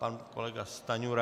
Pan kolega Stanjura.